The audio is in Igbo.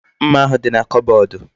Mma ahu di na kobodu